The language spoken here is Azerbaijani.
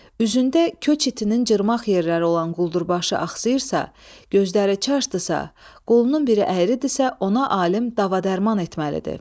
Üzündə köçitinin cırmağ yerləri olan quldurbaşı axsıyırsa, gözləri çaşdısa, qolunun biri əyridirsə ona alim dava-dərman etməlidir.